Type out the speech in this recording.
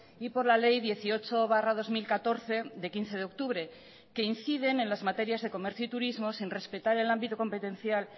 y por la ley dieciocho barra dos mil catorce de quince de octubre que inciden en las materias de comercio y turismo sin respetar el ámbito competencial